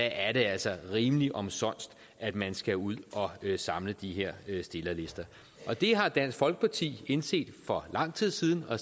altså rimelig omsonst at man skal ud at samle de her stillerlister det har dansk folkeparti indset for lang tid siden og